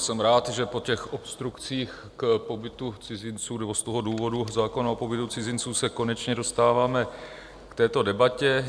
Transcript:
Jsem rád, že po těch obstrukcích k pobytu cizinců nebo z toho důvodu zákona o pobytu cizinců se konečně dostáváme k této debatě.